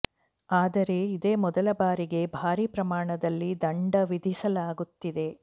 ಆದರೆ ಇದೇ ಮೊದಲ ಬಾರಿಗೆ ಭಾರೀ ಪ್ರಮಾಣದಲ್ಲಿ ದಂಡ ವಿಧಿಸಲಾಗುತ್ತಿದೆ